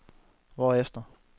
hvorefter